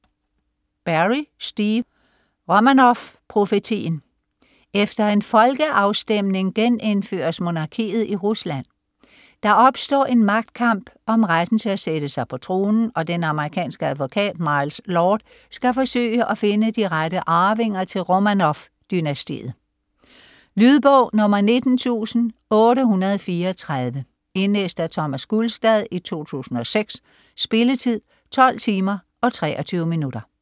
Berry, Steve: Romanovprofetien Efter en folkafstemning genindføres monarkiet i Rusland. Der opstår en magtkamp om retten til at sætte sig på tronen, og den amerikanske advokat Miles Lord skal forsøge at finde de rette arvinger til Romanov-dynastiet. Lydbog 19834 Indlæst af Thomas Gulstad, 2006. Spilletid: 12 timer, 23 minutter.